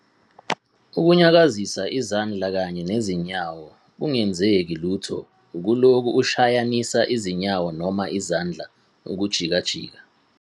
.ukunyakazisa izandla kanye nezinyawo kungenzeke lutho ukulokhu ushayanisa izinyawo noma izandla ukujikajika